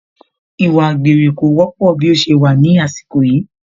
Ìwà àgbèrè kò wọ́pọ̀ bí ó ṣe wà ní àsìkò yìí